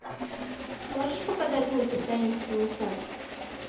можешь показать мультик таинственный сад